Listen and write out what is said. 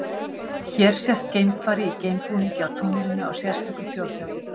Hér sést geimfari í geimbúningi á tunglinu á sérstöku fjórhjóli.